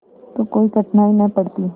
तो कोई कठिनाई न पड़ती